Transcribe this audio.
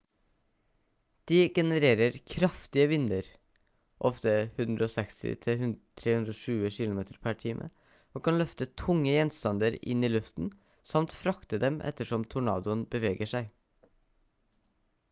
de genererer kraftige vinder ofte 160-320 kilometer/time og kan løfte tunge gjenstander inn i luften samt frakte dem ettersom tornadoen beveger seg